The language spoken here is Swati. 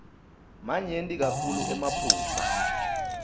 manyenti kakhulu emaphutsa